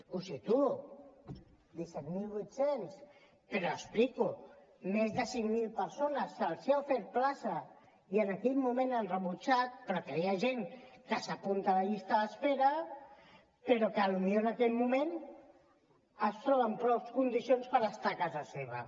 ho situo disset mil vuit cents però ho explico a més de cinc mil persones se’ls ha ofert plaça i en aquell moment l’han rebutjat perquè hi ha gent que s’apunta a la llista d’espera però que potser en aquell moment es troba en prou condicions per estar a casa seva